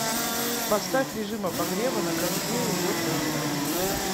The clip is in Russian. поставь режим обогрева на кондее в восемь утра